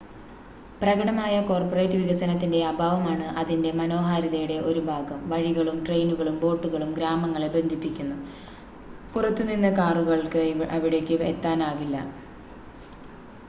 പ്രകടമായ കോർപ്പറേറ്റ് വികസനത്തിൻ്റെ അഭാവമാണ് അതിൻ്റെ മനോഹാരിതയുടെ ഒരു ഭാഗം വഴികളും ട്രെയിനുകളും ബോട്ടുകളും ഗ്രാമങ്ങളെ ബന്ധിപ്പിക്കുന്നു പുറത്തു നിന്ന് കാറുകൾക്ക് അവിടേക്ക് എത്താനാകില്ല